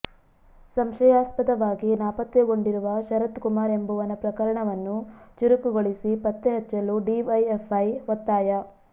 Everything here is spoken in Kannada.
ಸಂಶಯಾಸ್ಪದವಾಗಿ ನಾಪತ್ತೆಗೊಂಡಿರುವ ಶರತ್ಕುಮಾರ್ ಎಂಬವನ ಪ್ರಕರಣವನ್ನು ಚುರುಕುಗೊಳಿಸಿ ಪತ್ತೆ ಹಚ್ಚಲು ಡಿವೈಎಫ್ಐ ಒತ್ತಾಯ